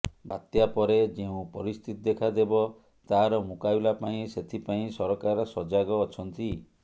ବାତ୍ୟା ପରେ ଯେଉଁ ପରିସ୍ଥିତି ଦେଖାଦେବ ତାର ମୁକାବିଲା ପାଇଁ ସେଥିପାଇଁ ସରକାର ସଜାଗ ଅଛନ୍ତି